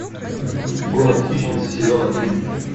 город хищниц сезон один